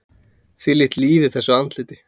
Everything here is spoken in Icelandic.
Þvílíkt líf í þessu andliti!